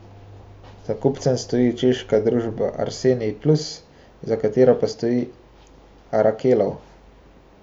Za kupcem stoji češka družba Arsenij Plus, za katero pa stoji Arakelov.